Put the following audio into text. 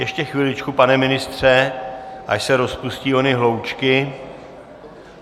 Ještě chviličku, pane ministře, až se rozpustí ony hloučky...